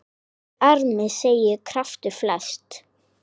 Í armi seggja kraftur felst.